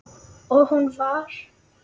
Og hún var